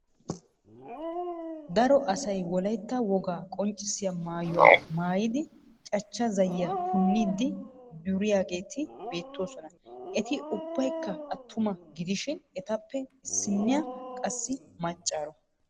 Daro asay wolaytta wogaa qonccissiya mayuwa maayidi cachcha zayyiya punniiddi duriyageeti beettoosona. Eti ubbaykka attuma gidishin etappe issinniya qassi maccaaro.